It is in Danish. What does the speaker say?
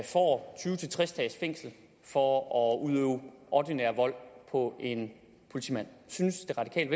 får tyve til tres dages fængsel for at udøve ordinær vold på en politimand synes